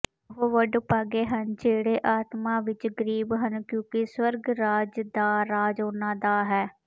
ਉਹ ਵਡਭਾਗੇ ਹਨ ਜਿਹੜੇ ਆਤਮਾ ਵਿੱਚ ਗਰੀਬ ਹਨ ਕਿਉਂਕਿ ਸਵਰਗ ਦਾ ਰਾਜ ਉਨ੍ਹਾਂ ਦਾ ਹੈ